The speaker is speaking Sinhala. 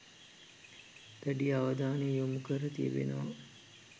දැඩි අවධානය යොමු කර තිබෙනවා.